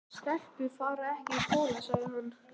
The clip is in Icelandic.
Stelpur fara ekki í skóla, sagði hann.